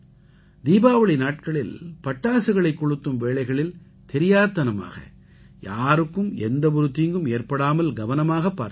தீபாவளி நாட்களில் பட்டாசுகளைக் கொளுத்தும் வேளைகளில் தெரியாத்தனமாக யாருக்கும் எந்த ஒரு தீங்கும் ஏற்படாமல் கவனமாக பார்த்துக் கொள்ளுங்கள்